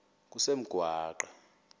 kusengwaqa